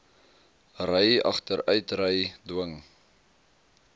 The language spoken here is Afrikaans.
ry agteruitry dwing